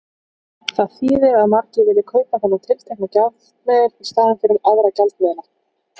Það þýðir að margir vilja kaupa þennan tiltekna gjaldmiðil í staðinn fyrir aðra gjaldmiðla.